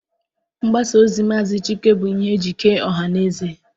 Mgbasa ozi Maazị Chike bụ ihe eji kee ọha mmadụ.